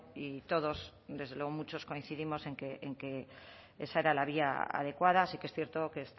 y todos desde luego muchos coincidimos en que esa era la vía adecuada sí que es cierto que